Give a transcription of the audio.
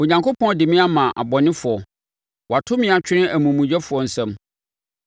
Onyankopɔn de me ama abɔnefoɔ. Wato me atwene amumuyɛfoɔ nsam.